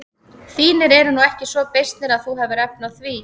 Þínir eru nú ekki svo beysnir að þú hafir efni á því.